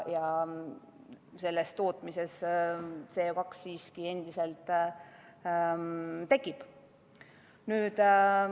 Selle tootmise käigus CO2 siiski tekib.